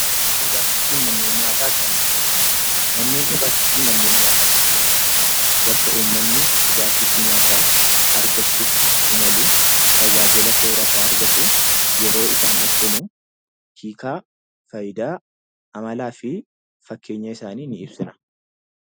Manneen dhugaatii fi manneen nyaataa akkamiin ibsina? Manneen dhugaatii fi manneen nyaataa jechuun bakka uummanni dhugaatii fi nyaata argachuuf itti imalu, tajaajila soorataa argatu, yeroo isaan ibsinuu chiikaa, faayidaa, amalaa fi fakkeenya isaaniin ni ibsina